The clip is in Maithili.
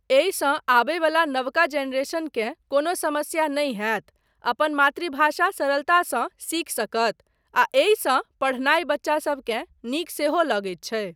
एहिसँ आबय वला नवका जनरेशन केँ कोनो समस्या नहि हैत, अपन मातृभाषा सरलतासँ सीखि सकत आ एहिसँ पढ़नाय बच्चासबकेँ नीक सेहो लगैत छै।